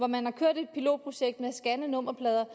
man har kørt et pilotprojekt med at scanne nummerplader